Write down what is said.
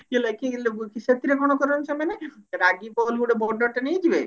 ସେଥିରେ କଣ କରନ୍ତି ସେମାନେ ରାଗି bowl ଗୋଟେ ବଡଟେ ନେଇଯିବେ